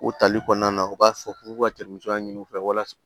U tali kɔnɔna na u b'a fɔ k'u ka ɲini u fɛ walasa